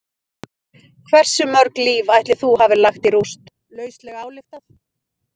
Hversu mörg líf ætli þú hafir lagt í rúst, lauslega ályktað?